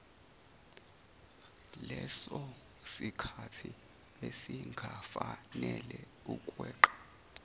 lesosikhathi esingafanele ukweqela